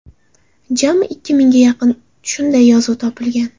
Jami ikki mingga yaqin shunday yozuv topilgan.